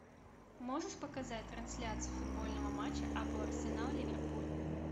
можешь показать трансляцию футбольного матча апл арсенал ливерпуль